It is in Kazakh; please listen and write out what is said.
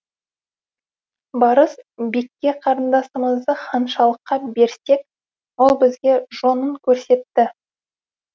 барс бекке қарындасымызды ханшалыққа берсек ол бізге жонын көрсетті